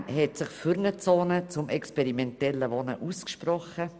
Bern hat sich für eine «Zone für experimentelle Wohnformen» ausgesprochen.